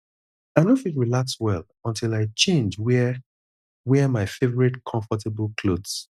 i no fit relax well until i change wear wear my favorite comfortable clothes